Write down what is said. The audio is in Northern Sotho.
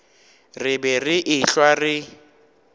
re be re ehlwa re